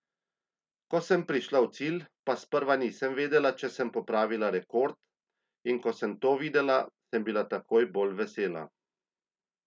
Ko sem prišla v cilj pa sprva nisem vedela, če sem popravila rekord, in ko sem to videla, sem bila toliko bolj vesela.